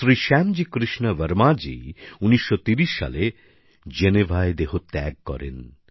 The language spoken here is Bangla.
শ্রী শ্যামজি কৃষ্ণ বর্মাজি ১৯৩০ সালে জেনেভায় দেহত্যাগ করেন